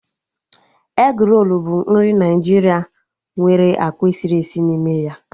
Egrolu bụ nri Naijiria nwere akwa esiri esi n'ime ya